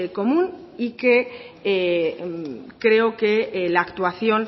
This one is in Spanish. común y que creo que la actuación